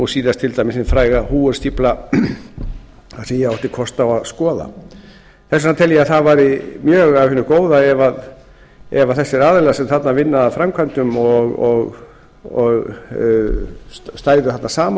síðast til dæmis hin fræga h stífla sem ég átti kost á að skoða þess vegna tel ég að það væri mjög af hinu góða ef þessir aðilar sem þarna vinna að framkvæmdum stæðu þarna saman